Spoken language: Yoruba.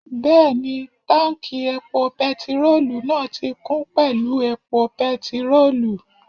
Bẹ́ẹ̀ni, táùnkì epo pẹtirólù náà ti kún pẹ̀lú epo pẹtirólù